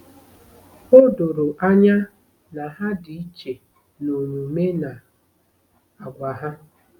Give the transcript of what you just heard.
O doro anya na ha dị iche n'omume na àgwà ha.